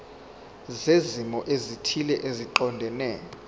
zezimo ezithile eziqondene